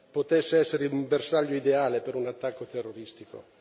potesse essere un bersaglio ideale per un attacco terroristico.